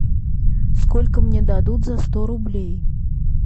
сколько мне дадут за сто рублей